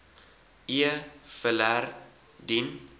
e filer dien